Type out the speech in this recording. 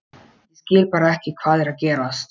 Ég skil bara ekki hvað er að gerast.